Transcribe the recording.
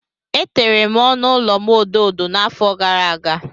Etere m ọnụ ụlọ m odo odo n'afọ gara aga.